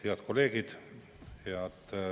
Head kolleegid!